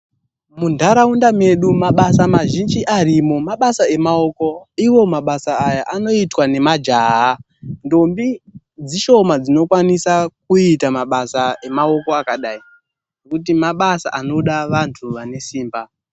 Munharaunda medu mabasa mazhinji arimwo mabasa emaoko, iwo mabasa aya anoitwa ngemajaha, Ndombi dzishoma dzinokwanisa kuita mabasa emaoko akadai, ngekuti mabasa ayaanoda vanthu vane simba.